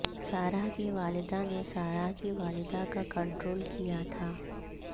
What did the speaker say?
سارہ کی والدہ نے سارہ کی والدہ کا کنٹرول کیا تھا